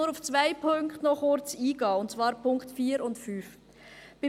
Ich möchte nur auf zwei Punkte kurz eingehen, und zwar auf die Punkte 4 und 5.